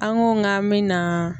An ko k'an mɛ na